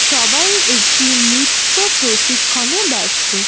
সবাই একটি নৃত্য প্রশিক্ষণে ব্যস্ত।